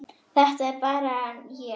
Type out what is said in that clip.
Þetta er nú bara ég!